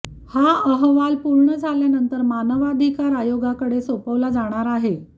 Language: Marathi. हा अहवाल पूर्ण झाल्यानंतर मानवाधिकार आयोगाकडे सोपवला जाणार आहे